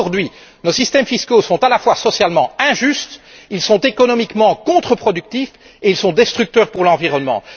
Aujourd'hui, nos systèmes fiscaux sont, à la fois, socialement injustes, économiquement contreproductifs et destructeurs pour l'environnement.